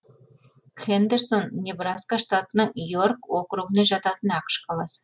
хэндерсон небраска штатының йорк округіне жататын ақш қаласы